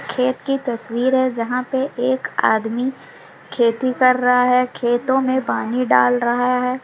खेत की तस्वीर है जहां पर एक आदमी खेती कर रहा है खेतों मे पानी डाल रहा है।